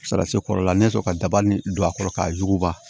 Sara se kɔrɔla ne bɛ fɛ ka dabali don a kɔrɔ k'a yuguba